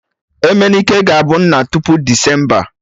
Emenike ga-abụ nna tupu Desemba